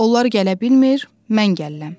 Onlar gələ bilmir, mən gəlirəm.